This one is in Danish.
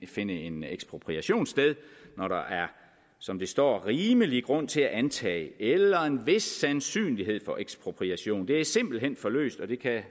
finde en ekspropriation sted når der er som der står rimelig grund til at antage eller en vis sandsynlighed for ekspropriation det er simpelt hen for løst og det kan